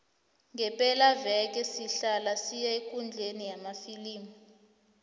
ngepelaveke sihlala siya ekundleni yamafilimu